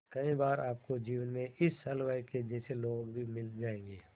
कई बार आपको जीवन में इस हलवाई के जैसे लोग भी मिल जाएंगे